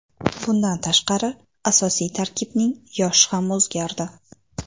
Bundan tashqari asosiy tarkibning yoshi ham o‘zgardi.